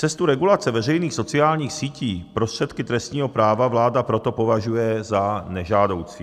Cestu regulace veřejných sociálních sítí prostředky trestního práva vláda proto považuje za nežádoucí.